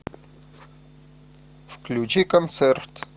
включи концерт